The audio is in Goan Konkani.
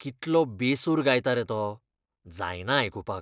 कितलो बेसूर गायता रे तो. जायना आयकुपाक.